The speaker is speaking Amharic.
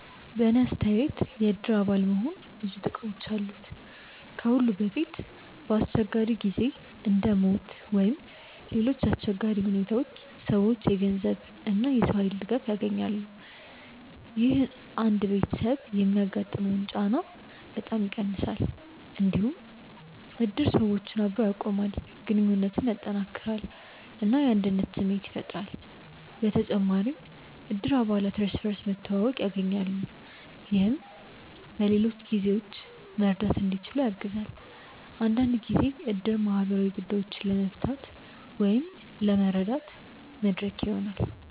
በእኔ አስተያየት የእድር አባል መሆን ብዙ ጥቅሞች አሉት። ከሁሉ በፊት በአስቸጋሪ ጊዜ እንደ ሞት ወይም ሌሎች አሰቸጋሪ ሁኔታዎች ሰዎች የገንዘብ እና የሰው ኃይል ድጋፍ ያገኛሉ። ይህ አንድ ቤተሰብ የሚያጋጥመውን ጫና በጣም ይቀንሳል። እንዲሁም እድር ሰዎችን አብሮ ያቆማል፣ ግንኙነትን ያጠናክራል እና የአንድነት ስሜት ያፈጥራል። በተጨማሪም እድር አባላት እርስ በርስ መተዋወቅ ያገኛሉ፣ ይህም በሌሎች ጊዜዎችም መርዳት እንዲችሉ ያግዛል። አንዳንድ ጊዜ እድር ማህበራዊ ጉዳዮችን ለመፍታት ወይም ለመረዳት መድረክ ይሆናል።